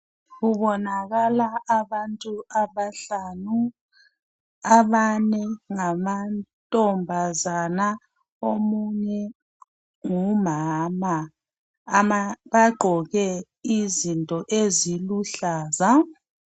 Kubonakala abantu abahlanu abane ngamantombazana omunye ngumama bagqoke izinto eziluhlaza